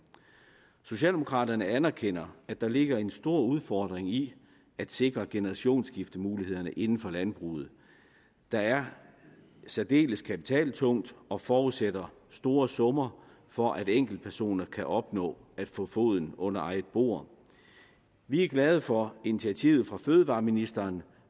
socialdemokraterne anerkender at der ligger en stor udfordring i at sikre generationsskiftemulighederne inden for landbruget der er særdeles kapitaltungt og forudsætter store summer for at enkeltpersoner kan opnå at få foden under eget bord vi er glade for initiativet fra fødevareministeren